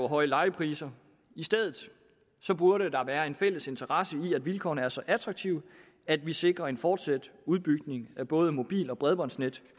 høje lejepriser i stedet burde der være en fælles interesse i at vilkårene er så attraktive at vi sikrer en fortsat udbygning af både mobil og bredbåndsnet